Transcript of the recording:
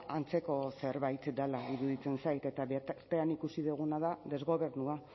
antzeko zerbait dela iruditzen zait eta bitartean ikusi duguna da desgobernua